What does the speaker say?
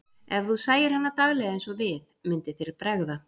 Ef þú sæir hana daglega eins og við, myndi þér bregða.